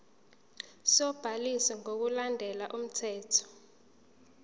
sobhaliso ngokulandela umthetho